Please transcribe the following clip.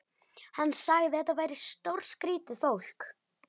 Hann sagði að þetta væri stórskrýtið fólk.